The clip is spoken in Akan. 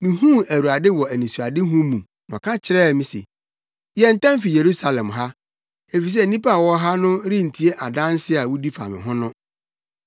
mihuu Awurade wɔ anisoadehu mu na ɔka kyerɛɛ me se, ‘Yɛ ntɛm fi Yerusalem ha, efisɛ nnipa a wɔwɔ ha no rentie adanse a wudi fa me ho no.’